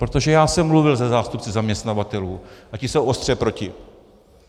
Protože já jsem mluvil se zástupci zaměstnavatelů a ti jsou ostře proti.